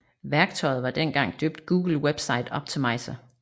Værktøjet var dengang døbt Google Website Optimizer